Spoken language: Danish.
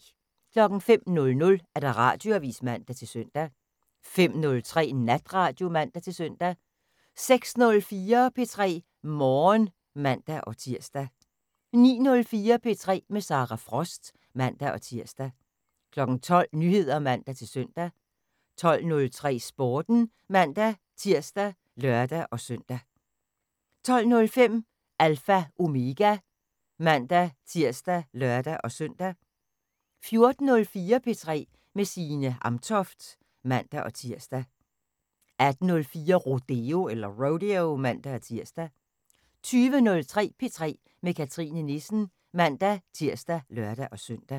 05:00: Radioavis (man-søn) 05:03: Natradio (man-søn) 06:04: P3 Morgen (man-tir) 09:04: P3 med Sara Frost (man-tir) 12:00: Nyheder (man-søn) 12:03: Sporten (man-tir og lør-søn) 12:05: Alpha Omega (man-tir og lør-søn) 14:04: P3 med Signe Amtoft (man-tir) 18:04: Rodeo (man-tir) 20:03: P3 med Cathrine Nissen (man-tir og lør-søn)